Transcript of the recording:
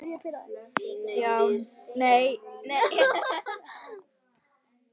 Ég syrgi hann mjög.